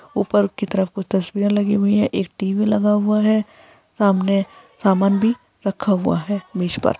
ऊपर की तरफ कुछ तस्वीरे लगी हुई हैं। एक टी_वी लगा हुआ हैं। सामने सामान भी रखा हुआ है मिष पर।